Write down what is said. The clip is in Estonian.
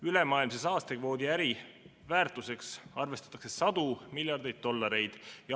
Ülemaailmse saastekvoodi äriväärtuseks arvestatakse sadu miljardeid dollareid.